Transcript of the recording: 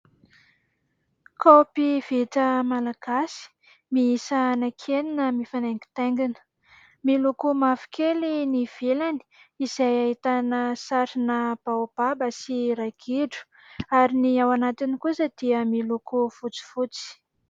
Kaopy vita malagasy mihisa anaky enina mifanaingitaingina, miloko mavokely ny ivelany izay ahitana sarina baobaba sy ragidro ary ny ao anatiny kosa dia miloko fotsifotsy.